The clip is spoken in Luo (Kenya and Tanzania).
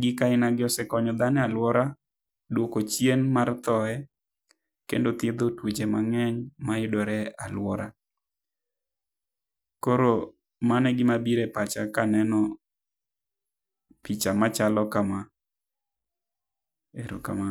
gik aina gi osekonyo dhano e aluora duoko chien mar thoye kendo thiedho tuoche mang'eny ma yudore e aluora. Koro mano e gi ma biro e pacha ka aneno picha ma chalo kama, erokamano.